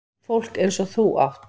Fólk eins og þú átt